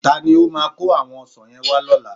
Ta ni ó máa kó àwọn ọsàn yẹn wá lọ́la?